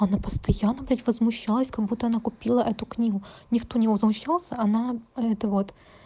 она постоянно блять возмущалась как будто она купила эту книгу никто не возмущался а она это вот